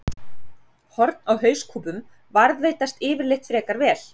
Horn á hauskúpum varðveitast yfirleitt frekar vel.